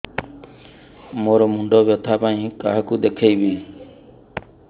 ମୋର ମୁଣ୍ଡ ବ୍ୟଥା ପାଇଁ କାହାକୁ ଦେଖେଇବି